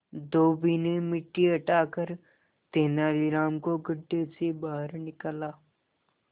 धोबी ने मिट्टी हटाकर तेनालीराम को गड्ढे से बाहर निकाला